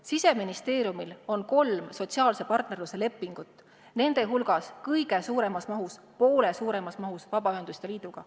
Siseministeeriumil on kolm sotsiaalse partnerluse lepingut, nende hulgas kõige suuremas mahus – poole suuremas mahus – Vabaühenduste Liiduga.